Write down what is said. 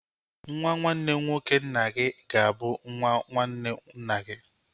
Nwa nwanne nwoke nna gị ga-abụ nwa nwanne nna gi